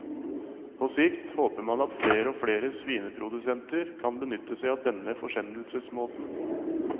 På sikt håper man at flere og flere svineprodusenter kan benytte seg av denne forsendelsesmåten.